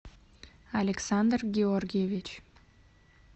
александр георгиевич